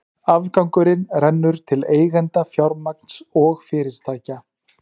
Afgangurinn rennur til eigenda fjármagns og fyrirtækja.